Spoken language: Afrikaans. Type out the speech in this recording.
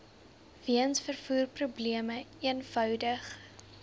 weens vervoerprobleme eenvoudig